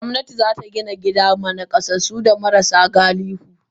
Gomnati zata Gina gida ma nakasassu da marasa galihu.